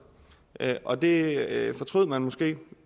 og det fortrød man måske